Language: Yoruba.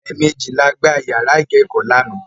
Ẹ̀mẹjì la gbá yàrá ìkẹ́kọ̀ọ́ lánàá.